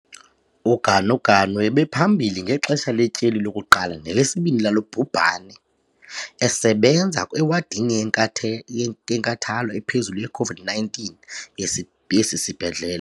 UGanuganu ebephambili ngexesha letyeli lokuqala nelesibini lalo bhubhane, esebenza ewadini yentathe yenkathalo ephezulu ye-COVID-19 yesi yesisibhedlele.